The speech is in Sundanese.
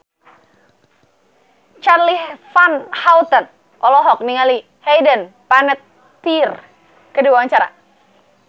Charly Van Houten olohok ningali Hayden Panettiere keur diwawancara